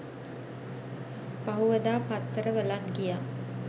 පහුවදා පත්තරවලත් ගියා